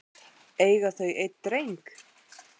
Eiga þau einn dreng.